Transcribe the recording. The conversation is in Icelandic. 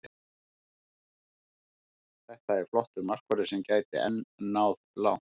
Þetta er flottur markvörður sem gæti enn náð langt.